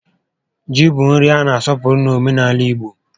Ji bụ nri a na asọpụrụ n'omenaala igbo